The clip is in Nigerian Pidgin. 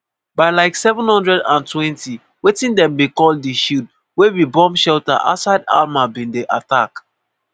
by like07:20 wetin dem bin call di shield wey be bomb shelter outside hamal bin dey attacked.